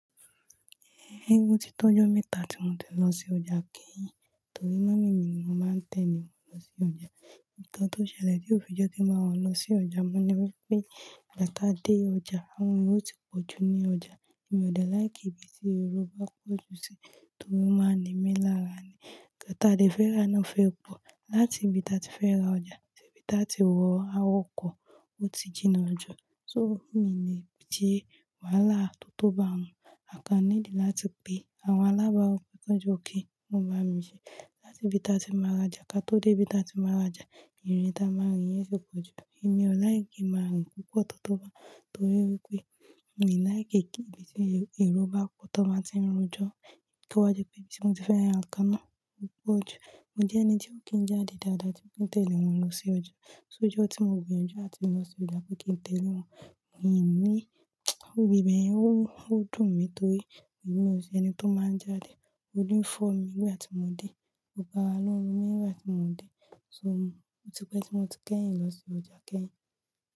Eégún ti tó ọjọ́ mẹ́ta tí mo ti lọ sí ọjà keyin, torí mummy mi nì mó máa ń tẹ̀lé wọn lọ sí ọjà. Ìkàn tó ṣẹlẹ̀ ni òfi jẹ́ kí bá wọ́n lọ sí ọjà, mo ní wípé igba tá dé ọjà, àwọn èrò ti pọ̀ jù ní ọjà, èmi ò de like ibi tí ero bá pọ̀ jù sí torí onmáa ń ní mí lára ni. Ìgbà tá a dé fẹ́rá náà fẹ́ pọ̀, láti ibi tá a ti fẹ́ ra ọjà, sí ibi tá a ti wọ àwọn ọkọ̀, ó ti jìnà jọ, so mí le se wàhálà tó tó bá hun, a kan need láti pe àwọn alábàaru pé kí wọn jọ, ki wọn ba mi ṣe. Ni ibi tá a ti má rajà, ká tó dé ibi tá a ti máa rajà, ìrìn tá a má rìn yẹn ti pọ̀ jù, èmi ò like kin máa rìn púpọ̀ tó tó bá hun, torí wípé mi ò like kí ibi tí ero bá pọ̀, tọ́ bá ti ń rojọ́. Tó bá jẹ́ pé ibi tí mo ti fẹ́ ra nǹkan náà ò pọ̀ jù. Mo jẹ́ ẹni tí ó kì ń jáde dáadáa tí won dẹ̀lé mu mi lọ sí oja, so ijo tí mo gbìyànjú láti lọ sí ọjà abi kí n tẹ̀lé wọn, mi ò ní, òwí ìbeyen ó dùn mi torí èmi ò ṣe ẹni tó máa ń jáde, órí fo mi ní igba tí mo dé, gbogbo ará ló n ro mi ni gbá tí mo dé, so ó ti pẹ́ tí mo ti kẹ́yìn lọ sí ọjà keyìn.